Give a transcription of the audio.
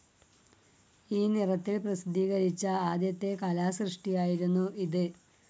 ഈ നിറത്തിൽ പ്രസിദ്ധീകരിച്ച ആദ്യത്തെ കലാസൃഷ്ടിയായിരുന്നു ഇത്.